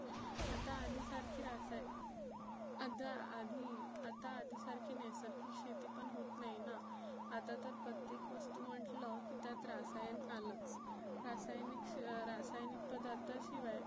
आता आधी सारखे रासायन आदा आधी आता आधी सारखी नैसर्गिक शेती पण होत नाही ना. आता तर प्रत्येक वस्तु म्हटलं की त्यात रासायन आलं. रासायनीक अं रासायनीक पदार्था शिवाय